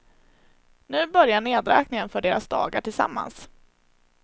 Nu börjar nedräkningen för deras dagar tillsammans.